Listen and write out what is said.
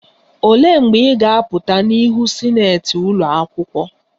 Olee mgbe ị ga-apụta n'ihu sinetị ụlọ akwụkwọ?..